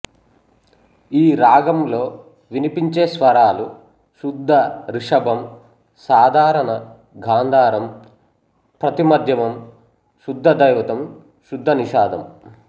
ఈ రాగంలో వినిపించే స్వరాలు శుద్ధ రిషభం సాధారణ గాంధారం ప్రతి మధ్యమం శుద్ధ ధైవతం శుద్ధ నిషాధం